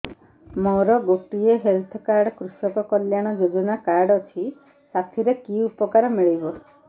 ମୋର ଗୋଟିଏ health card କୃଷକ କଲ୍ୟାଣ ଯୋଜନା କାର୍ଡ ଅଛି ସାଥିରେ କି ଉପକାର ମିଳିବ